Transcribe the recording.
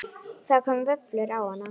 Það koma vöflur á hana.